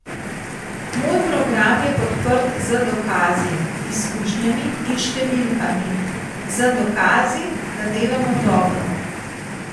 Moj program je podprt z dokazi, izkušnjami in številkami, z dokazi, da delamo dobro.